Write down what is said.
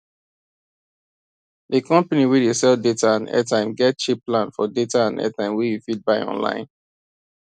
the company wey dey sell data and airtime get cheap plan for data and airtime wey you fit buy online